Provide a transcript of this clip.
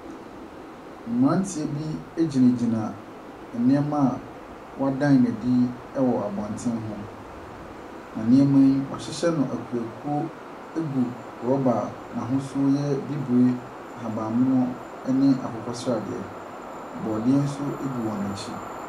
Mmeranteɛ bi gyinagyina nneɛma a wɔreda no adi wɔ abɔntene ho. Na nneɛma yi, wɔahyehyɛ no akuoakuo gu rɔba a n'ahosuo yɛ bibire, ahabammono ne akokɔsradeɛ. Borɔdeɛ nso gu wɔn akyi.